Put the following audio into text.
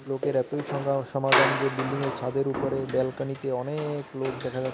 লোকের এতই সগা-সমাগম যে বিল্ডিংয়ের ছাদের উপরে ব্যালকনিতে অনেক লোক দেখা যাচ্ছ--